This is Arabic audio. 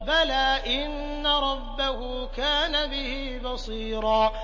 بَلَىٰ إِنَّ رَبَّهُ كَانَ بِهِ بَصِيرًا